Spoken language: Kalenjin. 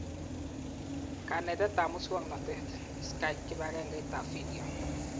Kanetetab muswonotet- Skype, kibagengeitab video